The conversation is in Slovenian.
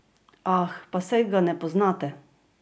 Ah, pa saj ga ne poznate!